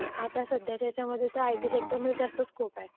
आता सध्याच्या ह्याच्यामध्ये तर आयटी सेक्टरमध्ये जास्त स्कोप आहे.